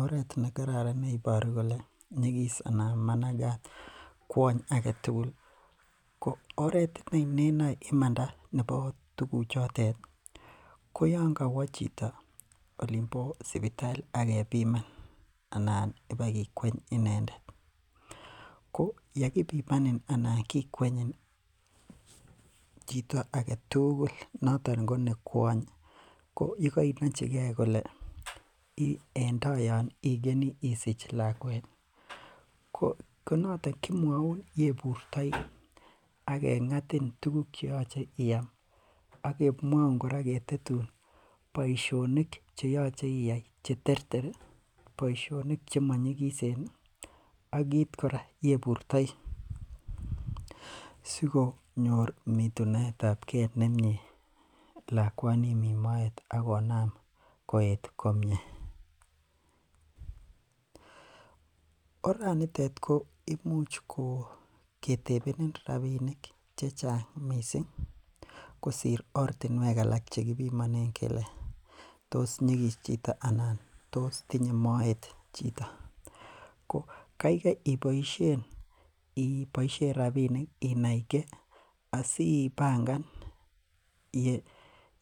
Oret neiboru kole nyigis anan managat kuony agetugul ko oret nenae imanda, nebo tuguchutet ko yoon ko waa chito olimbo sipitali akebiman. Anan ibakikweny inendet. Ko ya kibimanin anan kikwenyin ih chito agetugul noton ko ne kuany , ko yekainachige kole en tai yoon ih ikeni isich laguet ih kemwauun yebutai ak keng'atin tuguk cheyache iyai aketetun boisionik cheyache iyai , cheterter ih boisionik chemanyilisen ih , ak kit kora yeburtai sikonyor mitunetabke nemine lakunin nimiten moet akonam kot komie orat nitet koimuch ketebeni rabinik chechang missing kosir ortinuek alak chekibimanen kele tos nyikis chito ana tos tinye maet. Ko kaikai iboisien rabinik inaige asibangan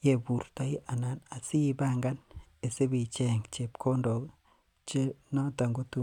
yeburtai anan asibangan icheng chebkondok.